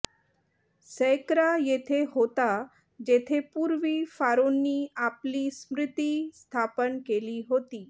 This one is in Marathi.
सैकरा येथे होता जेथे पूर्वी फारोंनी आपली स्मृती स्थापन केली होती